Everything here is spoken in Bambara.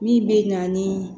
Min bɛ na ni